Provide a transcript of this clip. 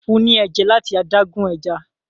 fún ní ẹja lati adágún ẹja